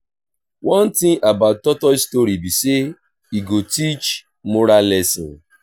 one thing about tortoise story be say e go teach moral lesson